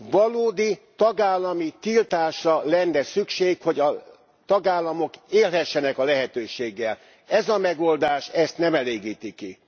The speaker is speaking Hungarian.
Valódi tagállami tiltásra lenne szükség, hogy a tagállamok élhessenek a lehetőséggel Ez a megoldás ezt nem elégíti ki.